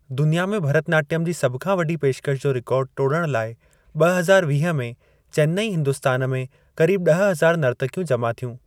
दुनिया में भारतनाट्यम जी सभु खां वॾी पेशकश जो रिकॉर्ड टोड़ण लाए ॿ हज़ार वीह में चेन्‍नैई, हिंदुस्‍तान में करीब ॾह हजार नर्तक्‍यूं जमा थ्‍यूं।